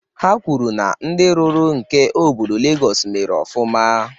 Ha kwuru na ndị rụrụ nke obodo Legọs mere ofụma